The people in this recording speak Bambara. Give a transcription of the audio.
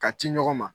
Ka ci ɲɔgɔn ma